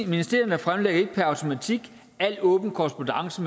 ministerierne fremlægger ikke per automatik al åben korrespondance